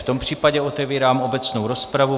V tom případě otevírám obecnou rozpravu.